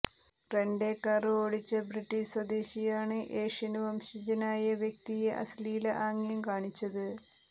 rent a car ഓടിച്ച British സ്വദേശിയാണ് Asian വംശജനായ വ്യക്തിയെ അശ്ലീല ആംഗ്യം കാണിച്ചത്